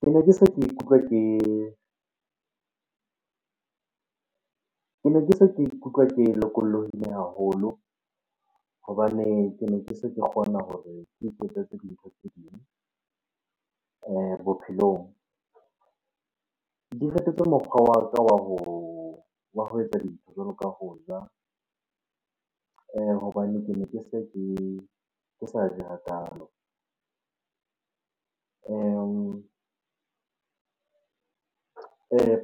Kene ke se ke ikutlwa ke lokolohile haholo hobane kene ke se ke kgona hore ke iketsetse dintho tse ding bophelong. Di fetotse mokgwa wa ka wa ho, wa ho etsa dintho jwalo ka ho ja hobane kene ke se ke, ke sa je hakalo.